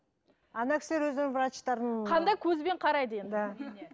ана кісілер өздерінің врачтарын қандай көзбен қарайды енді